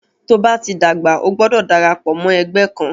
Tóo bá ti dàgbà, o gbọdọ̀ darapọ̀ mọ́ ẹgbẹ́ kan.